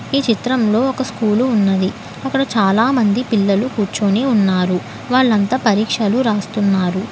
ఈ చిత్రంలో ఒక స్కూలు ఉన్నది అక్కడ చాలా మంది పిల్లలు కూర్చొని ఉన్నారు వాళ్లంతా పరీక్షలు రాస్తున్నారు.